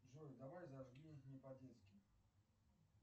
джой давай зажги не по детски